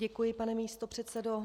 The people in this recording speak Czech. Děkuji, pane místopředsedo.